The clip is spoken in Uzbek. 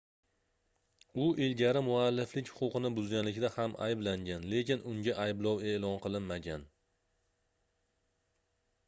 u ilgari mualliflik huquqini buzganlikda ham ayblangan lekin unga ayblov eʼlon qilinmagan